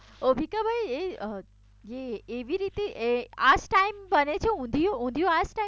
જીતાભાઈ એ એવી એ આજ ટીમે ટાઈમ બને છે ઊંધિયું